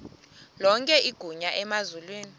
lonke igunya emazulwini